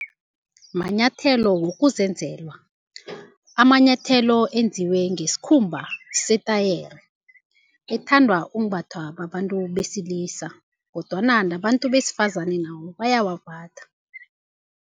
Manyathelo wokuzenzela, amanyathelo enziwe ngesikhumba setayere ethandwa ukumbathwa babantu besilisa kodwana nabantu besifazane nabo bayawambatha.